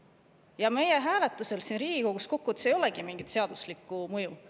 Ja meie hääletusel siin Riigikogus ei olegi kokkuvõttes mingit seaduslikku mõju.